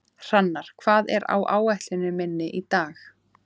Hrannar, hvað er á áætluninni minni í dag?